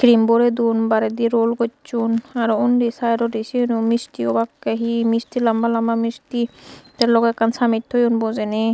cream birey dun baredi roll gochun aro undi side odi sigun u misti obakke he misti lamba lamba misti the loge ekkan samej thoyun bojeyni.